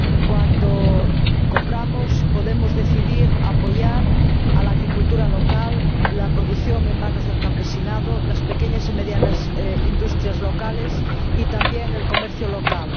Cuando compramos, podemos decidir apoyar la agricultura local, la producción en manos del campesinado, las pequeñas y medianas industrias locales, y también el comercio local.